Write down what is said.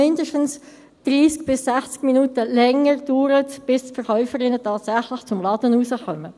Es dauert mindestens 30 bis 60 Minuten länger, bis die Verkäuferinnen tatsächlich aus dem Laden kommen.